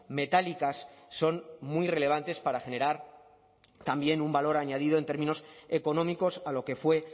metálicas son muy relevantes para generar también un valor añadido en términos económicos a lo que fue